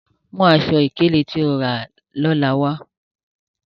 Mu àṣọ-ikele tó ó rà lọ́lá wa!